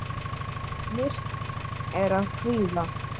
Myrkt er af kvíða.